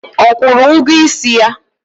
Ọ kwụrụ ụgwọ isi ya?